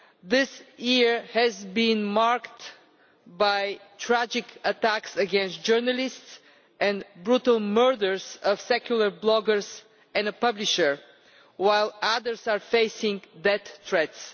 This year has been marked by tragic attacks on journalists and the brutal murders of secular bloggers and a publisher, while others are facing death threats.